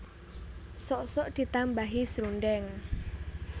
Sok sok ditambahi srundeng